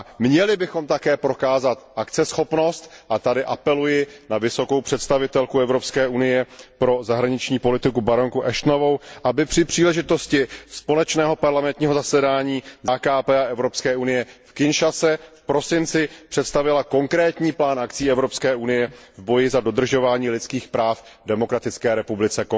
Měli bychom také prokázat akceschopnost a tady apeluji na vysokou představitelku Evropské unie pro zahraniční politiku baronku Ashtonovou, aby při příležitosti zasedání Smíšeného parlamentního shromáždění AKT EU v Kinshase v prosinci představila konkrétní plán akcí Evropské unie v boji za dodržování lidských práv v Konžské demokratické republice.